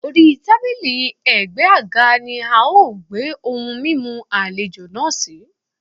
Orí tábílì ẹ̀gbẹ́ àga ni a gbé ohun mímu àlejò náà sí.